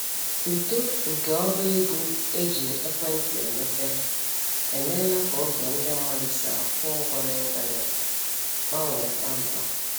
Uto nke ọba ego e ji ekwentị emepe emeela ka ụzọ ndị mmadụ si akwụ ụgwọ n'ịntanetị gbanwee kpamkpam.